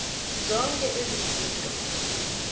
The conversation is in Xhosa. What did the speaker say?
zonke ezi zinto